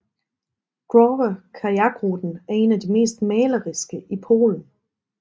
Drawa kajakruten er en af de mest maleriske i Polen